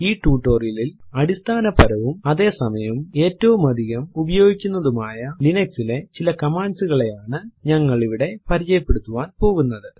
ഈ ടുട്ടോറിയലിലിൽ അടിസ്ഥാനപരവും അതെ സമയം ഏറ്റവും അധികം ഉപയോഗിക്കുന്നതുമായ ലിനക്സ് ലെ ചില കമാൻഡ്സ് കളെയാണ് നമ്മൾ ഇവിടെ പരിചയപ്പെടുത്താൻ പോകുന്നത്